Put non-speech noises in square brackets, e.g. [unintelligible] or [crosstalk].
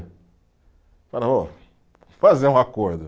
[unintelligible] ô, fazer um acordo.